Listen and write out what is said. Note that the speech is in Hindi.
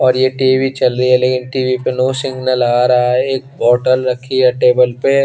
और ये टी_वी चल रही है पर टी_वी पे नो सिग्नल आ रहा है एक बोत्तल रखी है टेबल पे --